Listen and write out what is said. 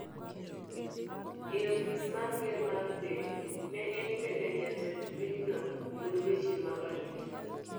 e ofis mar ker mar piny, ne en bende jatend pinyno kod weche mag arita.